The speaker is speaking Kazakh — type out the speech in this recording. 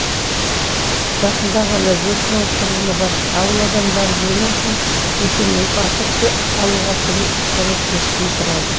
жақында ғана жеті мың тұрғыны бар ауыл адамдары өнім үшін өтемақы алуға көмектесуін сұрады